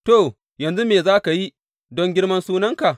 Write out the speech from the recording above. To, yanzu me za ka yi don girman sunanka?